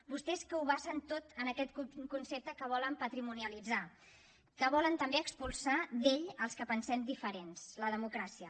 vostès que ho basen tot en aquest concepte que volen patrimonialitzar que volen també expulsar d’ell els que pensem diferent la democràcia